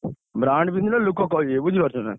Brand ପିନ୍ଧିଲେ ଲୋକ କହିବେ ବୁଝିପାରୁଛ ନା?